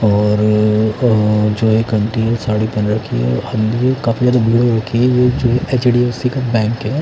और अ जो एक आंटी है साड़ी पहन रखी है काफी ज्यादा जो एच डी ऍफ़ सी का बैंक है--